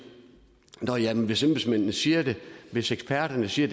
nå ja hvis embedsmændene siger det hvis eksperterne siger